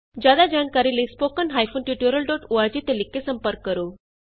ਜਿਆਦਾ ਜਾਣਕਾਰੀ ਲਈ spoken hyphen tutorial dot org ਤੇ ਲਿਖ ਕੇ ਸੰਪਰਕ ਕਰੋ